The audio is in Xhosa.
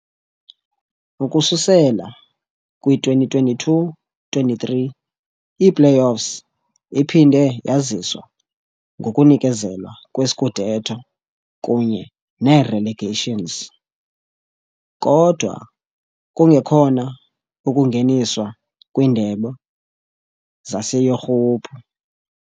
Ukususela kwi-2022-23 i-play-offs iphinde yaziswa ngokunikezelwa kwe-scudetto kunye ne-relegations, kodwa kungekhona ukungeniswa kwiindebe zaseYurophu.